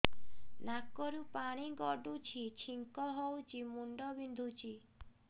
ନାକରୁ ପାଣି ଗଡୁଛି ଛିଙ୍କ ହଉଚି ମୁଣ୍ଡ ବିନ୍ଧୁଛି